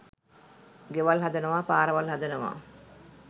ගෙවල් හදනවා පාරවල් හදනවා